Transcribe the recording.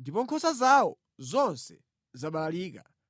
ndipo nkhosa zawo zonse zabalalika.